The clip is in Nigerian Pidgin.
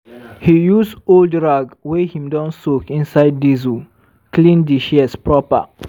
he use old rag wey him don soak inside diesel clean di shears proper.